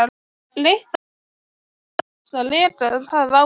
Leitt það í stað þess að reka það áfram.